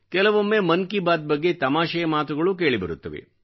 ಕೆಲವೊಮ್ಮೆ ಮನ್ ಕಿ ಬಾತ್ ಬಗ್ಗೆ ತಮಾಷೆಯ ಮಾತುಗಳೂ ಕೇಳಿಬರುತ್ತವೆ